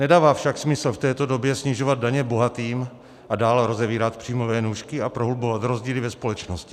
Nedává však smysl v této době snižovat daně bohatým a dál rozevírat příjmové nůžky a prohlubovat rozdíly ve společnosti.